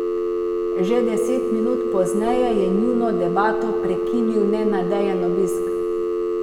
Že deset minut pozneje je njuno debato prekinil nenadejan obisk.